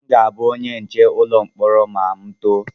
Aga m abụ onye nche ụlọ mkpọrọ ma m too